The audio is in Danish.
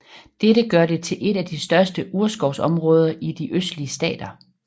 Dette gør det til et af de største urskovsområder i de østlige stater